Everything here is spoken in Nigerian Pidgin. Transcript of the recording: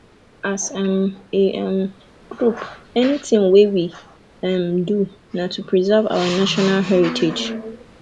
as um a um group anything wey we um dey do na to preserve our national heritage